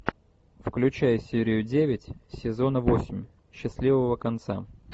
включай серию девять сезона восемь счастливого конца